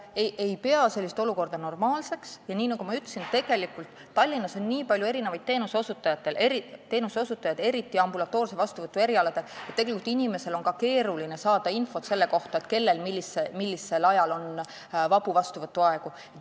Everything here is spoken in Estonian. Ma ei pea sellist olukorda normaalseks ja nagu ma ütlesin, Tallinnas on eriti ambulatoorse vastuvõtu erialadel nii palju erinevaid teenuseosutajaid, et tegelikult on inimesel keeruline saada infot ka selle kohta, kellel on millisel ajal vabu vastuvõtuaegu.